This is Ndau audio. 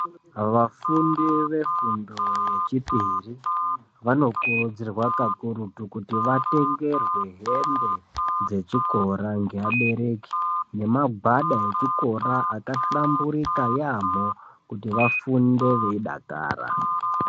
Vafundi vefundo yechipiri vanokurudzirwa kakurutu kuti vatengerwe hembe dzechikora ngeabereki. Nemagwada echikora akahlamburika yaamho kuti vafunde veidakara.